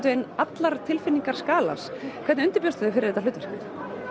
vegin allar tilfinningar skalans hvernig undirbjóstu þig fyrir þetta hlutverk